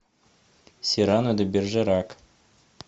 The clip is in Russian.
сирано де бержерак